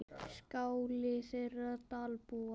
Skáli þeirra Dalbúa.